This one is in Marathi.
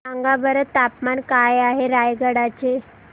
सांगा बरं तापमान काय आहे रायगडा चे